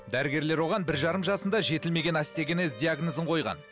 дәрігерлер оған бір жарым жасында жетілмеген остеогенез диагнозын қойған